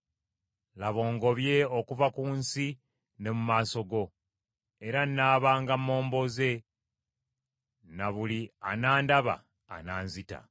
Laba, ongobye okuva ku nsi ne mu maaso go; era nnaabanga momboze ne buli anandaba ananzita.”